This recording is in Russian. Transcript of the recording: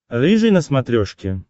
рыжий на смотрешке